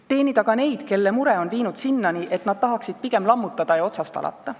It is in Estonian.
Teenida ka neid, keda mure on viinud sinnani, et nad tahaksid pigem lammutada ja otsast alata.